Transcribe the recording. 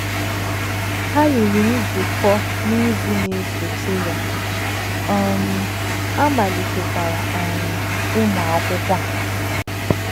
Ha yiri nzukọ n’izu na - esote ya, um a malitekwara um ịmụ akwụkwọ a.